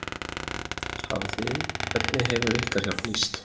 Hafið þið, hvernig hefur ykkar hjálp nýst?